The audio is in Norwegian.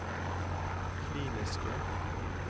kliniske